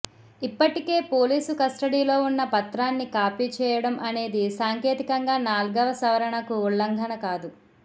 ఇప్పటికే పోలీసు కస్టడీలో ఉన్న పత్రాన్ని కాపీ చేయడం అనేది సాంకేతికంగా నాల్గవ సవరణకు ఉల్లంఘన కాదు